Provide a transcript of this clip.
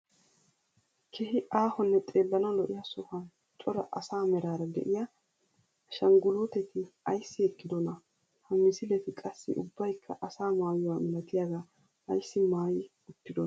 Keehi aahonne xeellanawu lo'iyaa sohuwaan cora asaa meraara de'iyaa ashanguluuteti ayssi eqqidonaa? ha misileti qassi ubbaykka asaa maayuwaa milatiyagaa ayssi maayi uttidonaa?